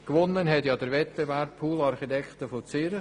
Gewonnen haben den Wettbewerb «pool Architekten» aus Zürich.